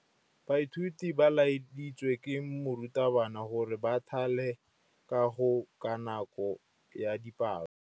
Baithuti ba laeditswe ke morutabana gore ba thale kagô ka nako ya dipalô.